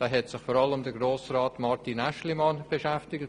Damit hat sich vor allem Grossrat Aeschlimann beschäftigt.